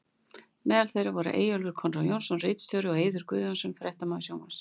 Meðal þeirra voru Eyjólfur Konráð Jónsson ritstjóri og og Eiður Guðnason fréttamaður sjónvarps.